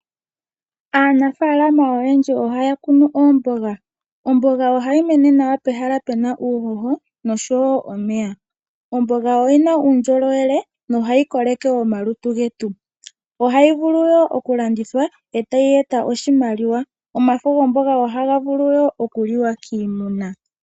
Aanafaalama oyendji ohaya kunu oomboga. Omboga ohayi mene nawa pehala pu na uuhoho oshowo omeya. Omboga oyi na uundjolowele nohayi koleke omalutu getu, ohayi vulu wo okulandithwa etayi eta oshimaliwa. Omafo gomboga ohaga vulu wo okuliwa kiimuna.